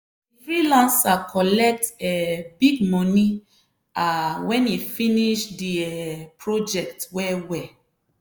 di freelancer collect um big money um wen e finish di um project well well.